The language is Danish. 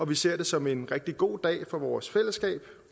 vi ser det som en rigtig god dag for vores fællesskab